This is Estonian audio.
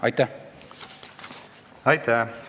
Aitäh!